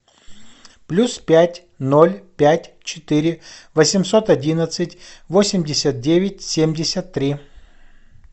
плюс пять ноль пять четыре восемьсот одиннадцать восемьдесят девять семьдесят три